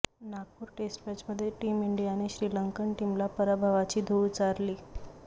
Nagpur test मॅचमध्ये team इंडियाने श्रीलंकन टीमला पराभवाची धूळ चारली